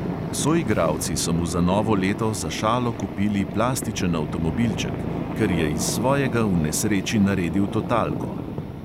Soigralci so mu za novo leto za šalo kupili plastičen avtomobilček, ker je iz svojega v nesreči naredil totalko.